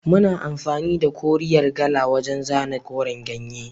Muna amfani da koriyar kala wajan zana koren ganye